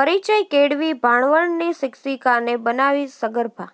પરિચય કેળવી ભાણવડની શિક્ષીકાને બનાવી સગર્ભા